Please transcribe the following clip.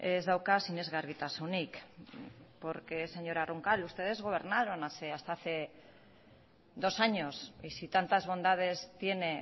ez dauka sinesgarritasunik porque señora roncal ustedes gobernaron hasta hace dos años y si tantas bondades tiene